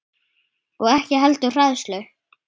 Og ekki heldur hræðslu